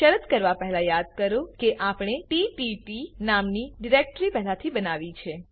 શરત કરવા પહેલા યાદ કરો કે આપણે તત્ત નામની ડિરેક્ટરી પહેલા બનાવી હતી